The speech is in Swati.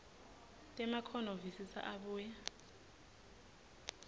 temakhono visisa abuye